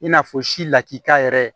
I n'a fɔ si lakika yɛrɛ